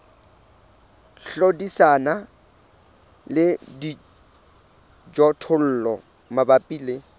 hlodisana le dijothollo mabapi le